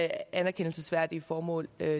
anerkendelsesværdige formål